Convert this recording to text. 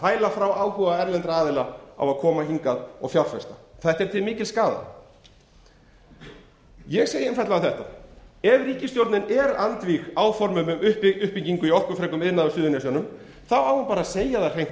fæla erlenda aðila frá því að koma hingað og fjárfesta þetta er til mikils skaða ég segi einfaldlega ef ríkisstjórnin er andvíg áformum um uppbyggingu í orkufrekum iðnaði á suðurnesjunum á hún bara að segja það hreint